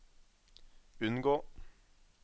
unngå